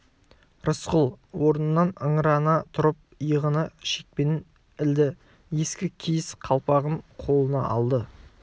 рысқұл орнынан ыңырана тұрып иығына шекпенін ілді ескі киіз қалпағын қолына алды